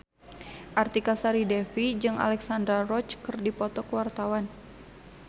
Artika Sari Devi jeung Alexandra Roach keur dipoto ku wartawan